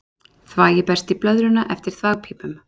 Þvagið berst í blöðruna eftir þvagpípum.